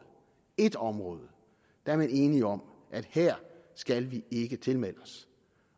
ét område er man enige om at her skal vi ikke tilmeldes